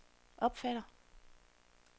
opfatter